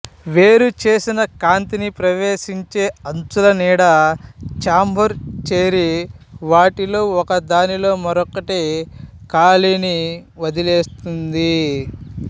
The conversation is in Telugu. వేరుచేసిన కాంతిని ప్రవేశించే అంచుల నీడ చాంబర్ చేరి వాటిలో ఒకదానిలో మరొకటి ఖాళీని వదిలివేస్తుంది